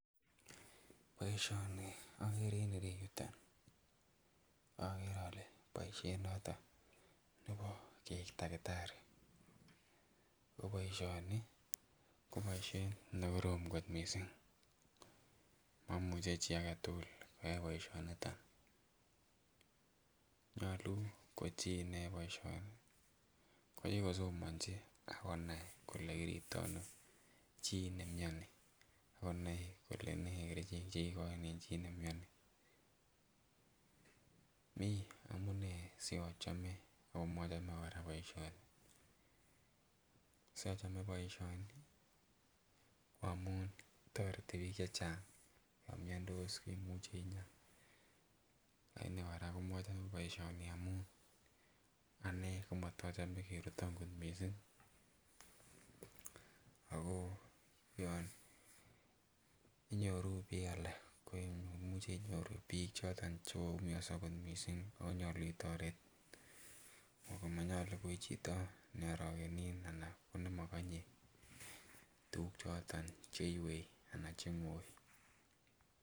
Boishoni okere en ireyuton okere ole boishet noton nebo keik takitari oboishoni ko boishet nekorom kot missing momuche chii aketukul koyai boishoniton , nyolu ko chii nayoe boishoni konyo kosomonchi ak konai kole kiriptono chii nimioni ak konai kole nee kerichek chekikoin en chii niemioni. Mii amunee siochome omochome Koraa boishoni, sochome boishoni ko amun toreti bik chechang yon miondos imuchi inyaa, anii oraa ko mochome boishoni amun anee ko motochome keruton kot missing ako yon inyoruu bik alak ko imuche inyoruu bik choton chekoyumioso kot missing onyolu itoret ako monyolu ichito ne orokenin anan ko nemokonye tukuk choton cheiwei anan cheingoi.